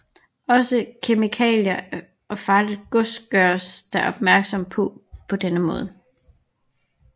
Også kemikalier og farligt gods gøres der opmærksom på på denne måde